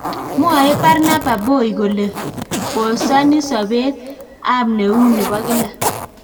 Mwae Barnaba Boy kole kosani sobe ab neu nebo kila